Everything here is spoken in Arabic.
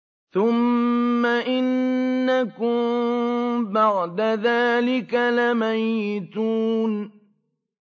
ثُمَّ إِنَّكُم بَعْدَ ذَٰلِكَ لَمَيِّتُونَ